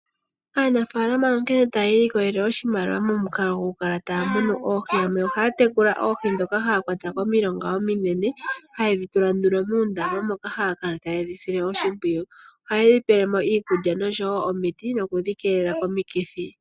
Aanafaalama onkene taya ilikolele oshimaliwa momukalo gwokukala taya munu oohi. Ohaya tekula oohi ndhoka haya kwata komilonga ominene hayedhi tula nduno muundama moka haya kala tayedhi sile oshimpwiyu. Ohaye dhi pele mo iikulya nosho wo omiti nokudhikeelela komikithi.